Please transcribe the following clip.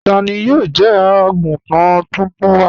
Tani yóò jẹ́ àgùntàn tóntún wa?